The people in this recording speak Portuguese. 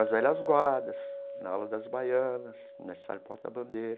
Nas velhas guardas, na ala das baianas, mestre sala e porta bandeira.